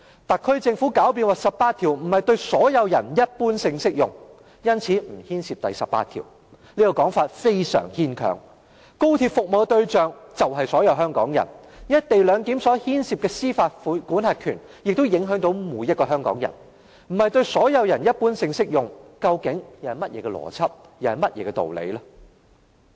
特區政府狡辯說第十八條並非對"所有人一般性適用"，因此不牽涉第十八條，這說法非常牽強，高鐵的服務對象就是所有香港人，"一地兩檢"所牽涉的司法管轄權亦影響到每一個香港人，如果不是對"所有人一般性適用"，那究竟是甚麼邏輯、甚麼道理？